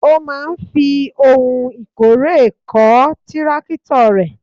Ó máa ń fi ohun ìkórè kọ́ tírákítọ̀ rẹ̀.